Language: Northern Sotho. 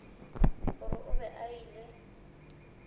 gore o be a ile